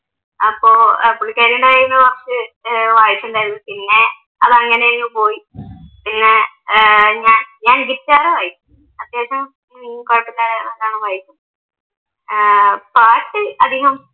അപ്പൊ പുള്ളിക്കാരി എൻ്റെ കൈയ്യിൽന്നു കുറച്ച് വായിച്ചിണ്ടായിരുന്നു പിന്നെ അത് അങ്ങനങ്ങു പോയി പിന്നെ ഏർ ഞാൻ ഗിറ്റാർ വായിക്കും അത്യാവശ്യം വായിക്കും പാട്ട് അതികം